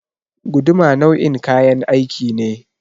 Guduma nau'in kayan aiki ne.